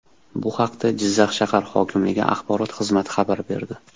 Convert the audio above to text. Bu haqda Jizzax shahar hokimligi axborot xizmati xabar berdi.